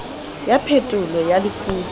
ya phetolo ya lefutso e